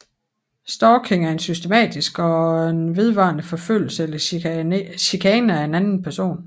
Stalking er en systematisk og vedvarende forfølgelse eller chikane af en anden person